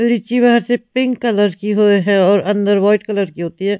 रीची बाहर से pink colour की हुए है और अंदर वाइट कलर की होती है।